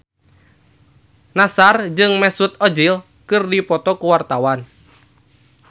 Nassar jeung Mesut Ozil keur dipoto ku wartawan